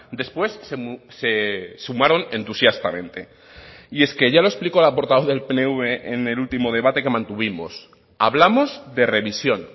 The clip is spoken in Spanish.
después se sumaron entusiastamente y es que ya lo explicó la portavoz del pnv en el último debate que mantuvimos hablamos de revisión